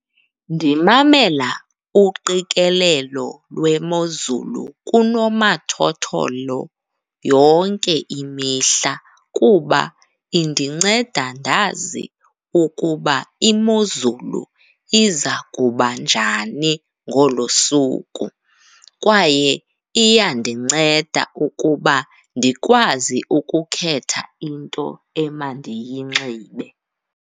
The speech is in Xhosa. Ndimamela uqikelelo lwemozulu kunomathotholo yonke imihla kuba indinceda ndazi ukuba imozulu iza kuba njani ngolo suku kwaye iyandinceda ukuba ndikwazi ukukhetha into emandiyinxibe.